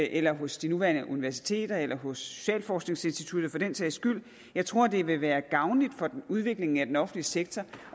eller hos de nuværende universiteter eller hos socialforskningsinstituttet for den sags skyld jeg tror det vil være gavnligt for udviklingen af den offentlige sektor